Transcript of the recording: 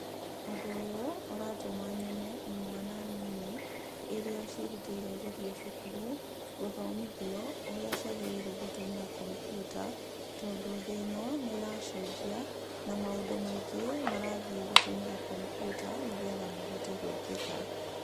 Ũndũ ũyũ ũratũma nyone imwana iria ciĩrutĩire gũthiĩ cukuru gũthomithio ũrĩa ciagĩrĩirwo gũtũmĩra kombiuta, tondũ thĩ ĩno nĩ ĩracenjia na maũndũ maingĩ marathiĩ gũtũmĩra kombiuta nĩ getha mahote gwĩkĩka.